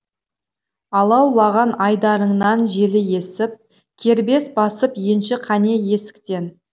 алаулаған айдарыңнан желі есіп кербез басып енші қане есіктен